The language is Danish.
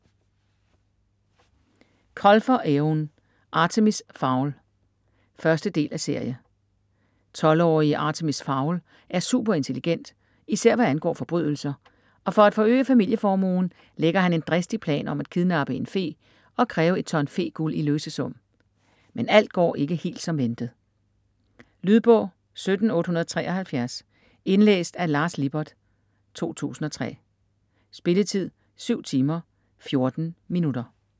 Colfer, Eoin: Artemis Fowl 1.del af serie. 12-årige Artemis Fowl er superintelligent især hvad angår forbrydelser, og for at forøge familieformuen lægger han en dristig plan om at kidnappe en fe og kræve et ton fe-guld i løsesum. Men alt går ikke helt som ventet. Lydbog 17873 Indlæst af Lars Lippert, 2003. Spilletid: 7 timer, 14 minutter.